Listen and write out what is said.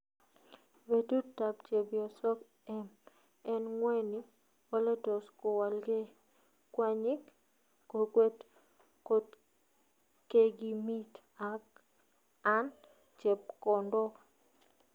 petut ap chepyosoog em en ngweny : ole tos kowalgee kwanyiik kokweet kotkegimiiit an chepkondoog